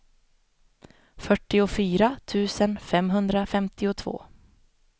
fyrtiofyra tusen femhundrafemtiotvå